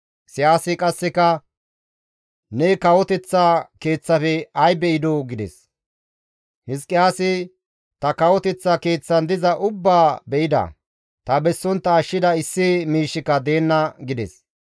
Isayaasi qasseka, «Ne kawoteththa keeththafe ay be7idoo?» gides. Hizqiyaasi, «Ta kawoteththa keeththan diza ubbaa be7ida; ta bessontta ashshida issi miishshika deenna» gides.